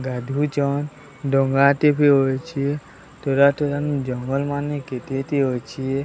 ଗାଧଉଚନ୍ ଡଙ୍ଗା ଟେ ବି ଓହୋଳିଚି ତୁରା ତୁରନ୍ ଜଙ୍ଗଲ ମାନେ କେତେ ଟେ ଅଛି।